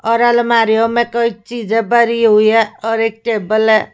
और अलमारियों में कोई चीजें भरी हुई है और एक टेबल है।